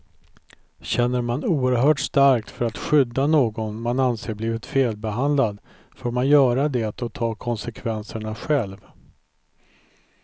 Känner man oerhört starkt för att skydda någon man anser blivit felbehandlad får man göra det och ta konsekvenserna själv.